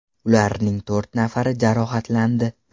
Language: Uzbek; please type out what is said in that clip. Ularning to‘rt nafari jarohatlandi.